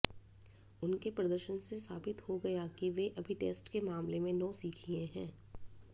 उनके प्रदर्शन से साबित हो गया कि वे अभी टेस्ट के मामले में नौसिखिए हैं